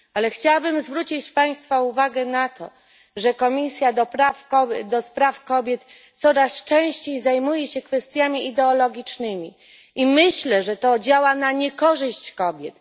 Chciałabym jednak zwrócić Państwa uwagę na to, że komisja do spraw kobiet coraz częściej zajmuje się kwestiami ideologicznymi, i myślę, że to działa na niekorzyść kobiet.